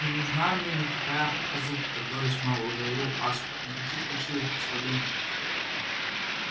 не нужна мне никакая показуха торговец мэллоу заявил аспер никаких фальшивых представлений